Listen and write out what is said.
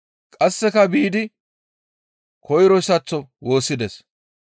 Qasseka biidi koyroyssaththo woossides.